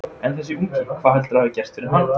En þessi ungi, hvað heldurðu að hafi gerst fyrir hann?